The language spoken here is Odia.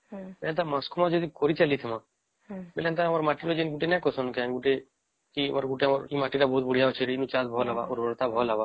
ମାସକୁ ମାସ ଯଦି କରି ଚାଲିଥିବା ତାହାଲେ ଆମର ମାଟିର ଯେନ୍ତା ଗୋଟେ ନାଇଁ ସଁ କି ଗୋଟେ ଏ ମାଟି ତ ବଢିଆ ଅଛି ରେ ଚାଲ ଉର୍ବରତା ଭଲ ହେବ